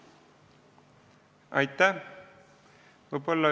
Aitäh!